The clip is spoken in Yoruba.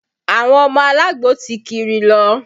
Àwọn ọmọ alagbo ti kiri lọ